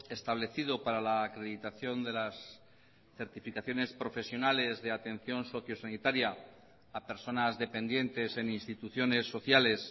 establecido para la acreditación de las certificaciones profesionales de atención socio sanitaria a personas dependientes en instituciones sociales